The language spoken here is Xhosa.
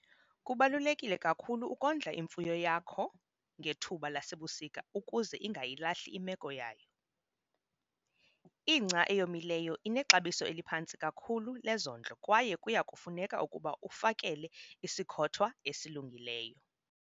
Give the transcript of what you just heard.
Kubaluleke kakhulu ukondla imfuyo yakho ngethuba lasebusika ukuze ingayilahli imeko yayo. Ingca eyomileyo inexabiso eliphantsi kakhulu lezondlo kwaye kuya kufuneka ukuba ufakele isikhothwa esilungileyo.